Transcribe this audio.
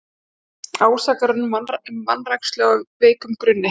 Ásakanir um vanrækslu á veikum grunni